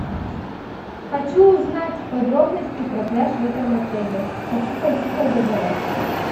хочу узнать подробности про пляж в этом отеле хочу пойти позагорать